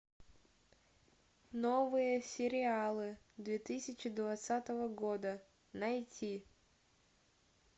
новые сериалы две тысячи двадцатого года найти